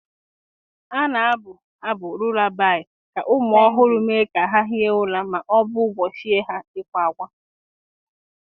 A na-abụ Lullaby ka ụmụ ọhụrụ mee ka ha hie ụra ma ọ bụ gbochie ha ịkwa ákwá.